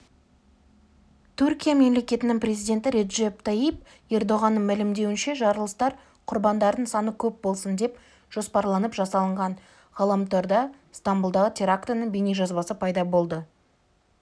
түркия мемлекетінің президенті реджеп тайип ердоғанның мәлімдеуінше жарылыстар құрбандардың саны көп болсын деп жоспарланып жасалынған ғаламторда стамбұлдағы терактінің бейнежазбасы пайда болды